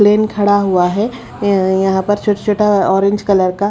plane खड़ा हुआ है यहां पर छोटा-छोटा ऑरेंज कलर का--